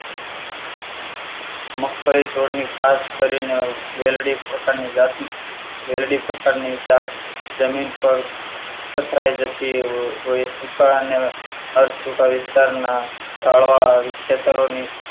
મગફળી સ્વરની ખાસ કરીને વેલડી પ્રકારની જાત વેલડી પ્રકારની જાત જમીન પર પથરાઈ જતી હોય સૂકા અને સૂકા વિસ્તારના તાળવા ખેતરોની